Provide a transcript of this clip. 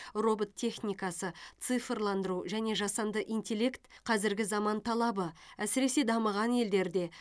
робот техникасы цифрландыру және жасанды интеллект қазіргі заман талабы әсіресе дамыған елдерде